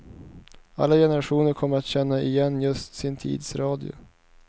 Alla generationer kommer att känna igen just sin tids radio.